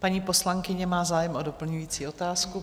Paní poslankyně má zájem o doplňující otázku.